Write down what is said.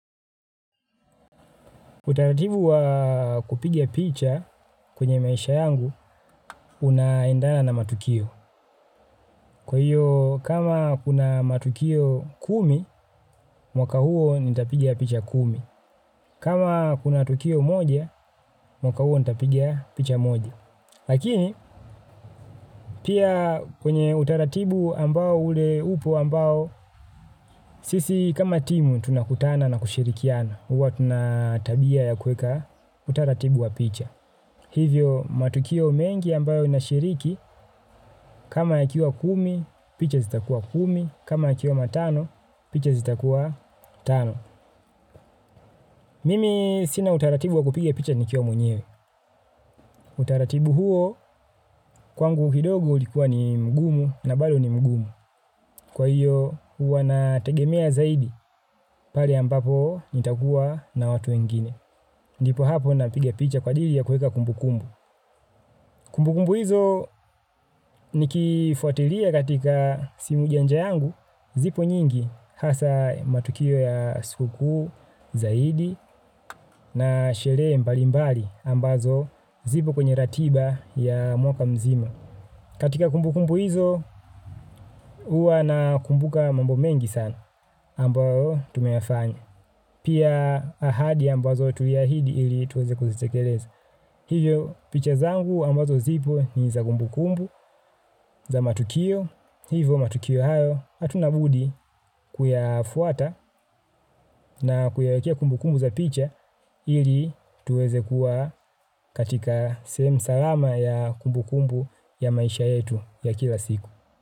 Utaratibu wa kupiga picha kwenye maisha yangu unaendana na matukio. Kwa hiyo kama kuna matukio kumi, mwaka huo nitapiga picha kumi. Kama kuna tukio moja, mwaka huo nitapiga picha moja. Lakini pia kwenye utaratibu ambao ule upo ambao sisi kama timu tunakutana na kushirikiana huwa tuna tabia ya kuweka utaratibu wa picha. Hivyo matukio mengi ambayo inashiriki kama yakiwa kumi picha zitakuwa kumi. Kama yakiwa matano picha zita kuwa tano. Mimi sina utaratibu wa kupiga picha nikiwa mwenyewe. Utaratibu huo kwangu kidogo ulikuwa ni mgumu na bado ni mgumu. Kwa hiyo, huwa na tegemea zaidi pale ambapo nitakuwa na watu wengine. Ndipo hapo napiga picha kwa ajili ya kuweka kumbukumbu. Kumbukumbu hizo nikifuatilia katika simu janja yangu zipo nyingi hasa matukio ya siku kuu zaidi na sherehe mbali mbali ambazo zipo kwenye ratiba ya mwaka mzima. Katika kumbukumbu hizo, huwa na kumbuka mambo mengi sana ambayo tumeyafanya. Pia ahadi ambazo tuliahidi ili tuweze kuzitekeleza. Hivyo picha zangu ambazo zipo ni za kumbukumbu za matukio. Hivyo matukio hayo. Hatuna budi kuyafuata na kuyawekea kumbukumbu za picha ili tuweze kuwa katika sehemu salama ya kumbukumbu ya maisha yetu ya kila siku.